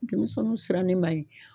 Denmisɛnnu sirannen man ɲi